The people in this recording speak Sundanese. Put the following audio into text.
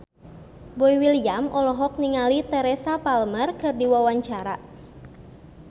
Boy William olohok ningali Teresa Palmer keur diwawancara